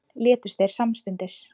Létust þeir samstundis